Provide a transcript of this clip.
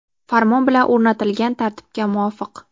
Farmon bilan o‘rnatilgan tartibga muvofiq:.